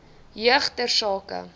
jeug ter sake